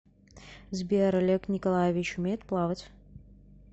сбер олег николаевич умеет плавать